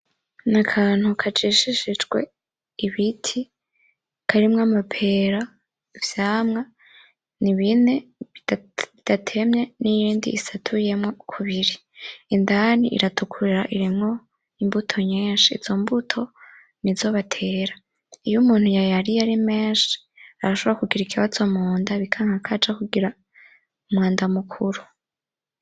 Ni akantu kajishishijwe ibiti karimwo amapera, ivyamwa n'ibine bidatemye n'iyindi isatuyemwo kubiri indani iratukura irimwo imbuto nyinshi izo mbuto nizo batera iyo umuntu yayariye ari menshi arashobora kugira ikabazo munda bikanka kaja kugira umwanda mukuru.